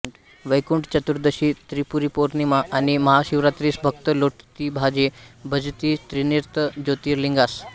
वैकुंठचतुर्दशी त्रिपुरीपौर्णिमा आणि महाशिवरात्रीस भक्त लोटती भावे भजती त्रिनेत्र ज्योतिर्लिंगास